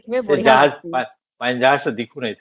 ସେ ଜାହାଜ ପାଖରେ ଦେଖୁ ନାଇଁ